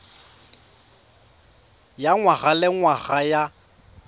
ya ngwaga le ngwaga ya